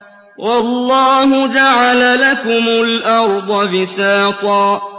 وَاللَّهُ جَعَلَ لَكُمُ الْأَرْضَ بِسَاطًا